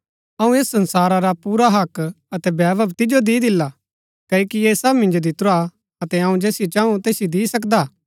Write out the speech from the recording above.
अऊँ ऐस संसारा रा पुरा हक्क अतै वैभव तिजो दी दिला क्ओकि ऐह सब मिन्जो दितुरा अतै अऊँ जैसियो चाऊ तैसिओ दी सकदा